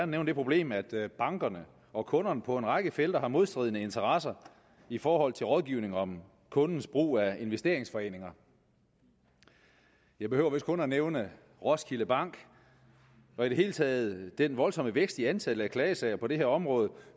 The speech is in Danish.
nævne det problem at at bankerne og kunderne på en række felter har modstridende interesser i forhold til rådgivning om kundens brug af investeringsforeninger jeg behøver vist kun at nævne roskilde bank og i det hele taget den voldsomme vækst i antallet af klagesager på det her område